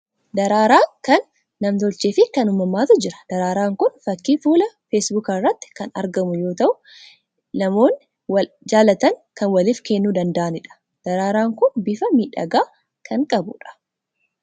Daraaraan kan nam tolchee fi kan uumamaatu jiru. Daraaraan kun fakkii fuula "Facebook" irratti kan argamu yoo ta'u, Inamoonni wal jaalatan kan waliif kennuu danda'anidha. Daraaraan kun bifa miidhagaa kan qabudha.